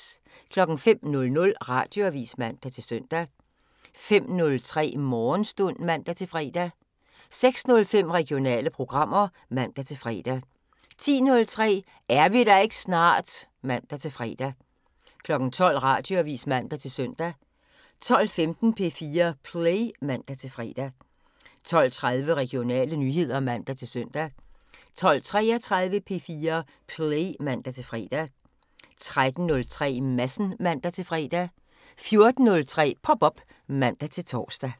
05:00: Radioavisen (man-søn) 05:03: Morgenstund (man-fre) 06:05: Regionale programmer (man-fre) 10:03: Er vi der ikke snart? (man-fre) 12:00: Radioavisen (man-søn) 12:15: P4 Play (man-fre) 12:30: Regionale nyheder (man-søn) 12:33: P4 Play (man-fre) 13:03: Madsen (man-fre) 14:03: Pop op (man-tor)